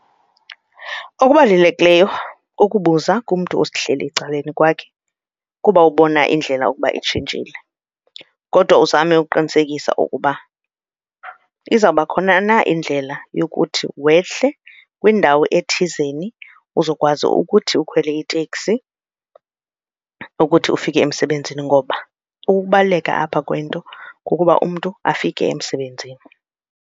Ukubalulekileyo kukubuza kumntu ohleli ecaleni kwakhe kuba ubona indlela ukuba itshintshile kodwa uzame ukuqinisekisa ukuba izawuba khona na indlela youkuthi wehle kwindawo ethizeni uzokwazi ukuthi ukhwele iteksi ukuthi ufike emsebenzini ngoba ukubaluleka apha kwento kukuba umntu afike emsebenzini.